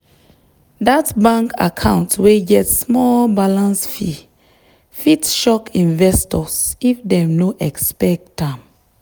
that bank account wey get small balance fee fit shock investors if dem no expect am.